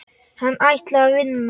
Hann ætlaði að vinna.